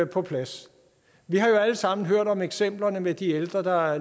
på plads vi har jo alle sammen hørt om eksemplerne med de ældre der